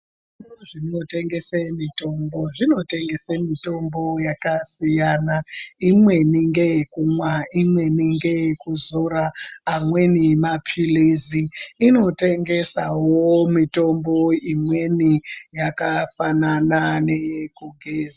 ...zvinotengese mitombo zvinotengese mitombo yakasiyana. Imweni ngeyekumwa, imweni ngeyekuzora, amweni maphilizi. Inotengesawo mitombo imweni yakafanana neyekugeza.